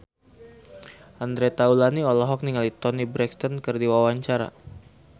Andre Taulany olohok ningali Toni Brexton keur diwawancara